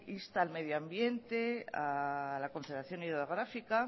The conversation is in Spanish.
insta al medio ambiente a la confederación hidrográfica